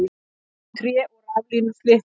Þar féllu tré og raflínur slitnuðu